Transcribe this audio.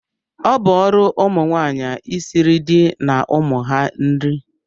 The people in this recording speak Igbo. Ọ bụ ọrụ ụmụnwaanyị isiri di na ụmụ ha nri